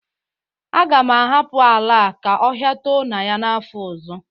Aga m ahapụ ala a ka ọhia too na ya n'afọ ọzọ